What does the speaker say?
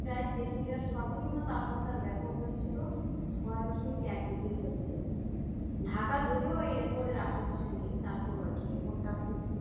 প্রায় তেতুলিয়ার সর্বনিম্ন তাপমাত্রার record হয়েছিল ছয় দশমিক এক degree celsius ঢাকা যদিও এই record এর আশেপাশে নেই তারপরেও আর কি record টা খুব